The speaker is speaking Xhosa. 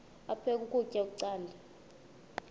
aphek ukutya canda